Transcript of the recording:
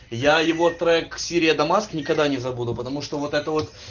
я его трек сирия дамаск никогда не забуду потому что вот это